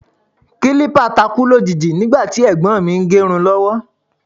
Kílípà takú lójijì nígbà tí ẹ̀gbọ́n mi ń gẹ irun lọ́wọ́